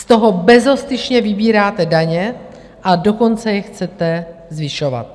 Z toho bezostyšně vybíráte daně, a dokonce je chcete zvyšovat!